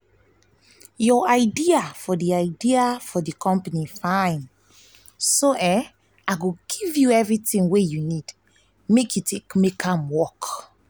your idea for idea for the company fine so i go give you everything you need to make am work